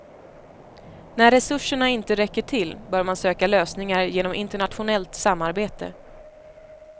När resurserna inte räcker till bör man söka lösningar genom internationellt samarbete.